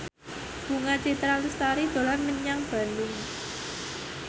Bunga Citra Lestari dolan menyang Bandung